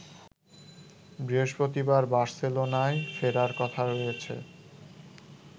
বৃহস্পতিবার বার্সেলোনায় ফেরার কথা রয়েছে